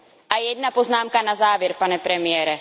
A jedna poznámka na závěr, pane premiére.